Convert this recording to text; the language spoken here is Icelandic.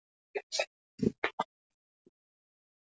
Hann benti snöggt með hendinni og æpti fagnandi